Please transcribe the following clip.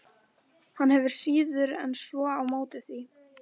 Hann hefur síður en svo á móti því.